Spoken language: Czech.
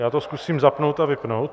Já to zkusím zapnout a vypnout.